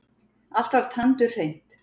Allt var tandurhreint.